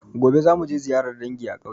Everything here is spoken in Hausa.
Gobe za muje ziyarar dangi a ƙauye